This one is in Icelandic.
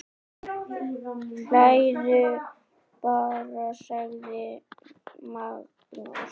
Hlæðu bara, sagði Magnús.